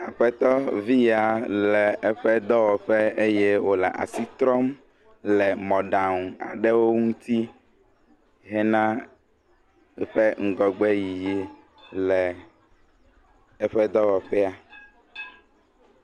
Aƒetɔ vi ya le eƒe dɔwɔƒe eye wole asi trɔm le mɔɖaŋu aɖewo ŋuti hena woƒe ŋgɔgbe yiyi le eƒe dɔwɔƒea.